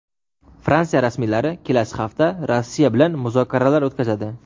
Fransiya rasmiylari kelasi hafta Rossiya bilan muzokaralar o‘tkazadi.